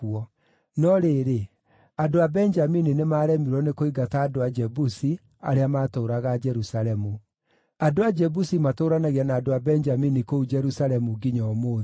No rĩrĩ, andũ a Benjamini nĩmaremirwo nĩ kũingata andũ a Jebusi arĩa maatũũraga Jerusalemu. Andũ a Jebusi matũũranagia na andũ a Benjamini kũu Jerusalemu nginya ũmũthĩ.